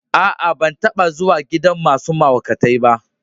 Aa, ban taba zuwa gidan masun mahaukatai ba.